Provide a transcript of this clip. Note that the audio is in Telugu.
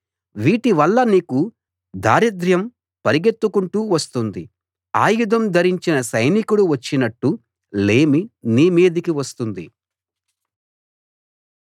వీటివల్ల నీకు దారిద్రర్యం పరిగెత్తుకుంటూ వస్తుంది ఆయుధం ధరించిన సైనికుడు వచ్చినట్టు లేమి నీమీదికి వస్తుంది